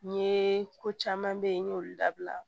N ye ko caman bɛ yen n y'olu dabila